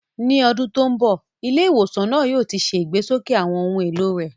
Ní ọdún tó ń bọ̀, ilé ìwòsàn náà yóò ti ṣe ìgbésókè àwọn ohun èlò rẹ̀.